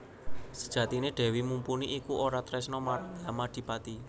Sejatiné Dèwi Mumpuni iku ora tresna marang Yamadipati